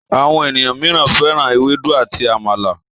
Àwọn ènìyàn míràn féràn Ewédú àti àmàlà.